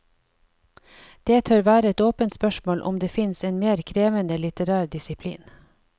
Det tør være et åpent spørsmål om det fins en mer krevende litterær disiplin.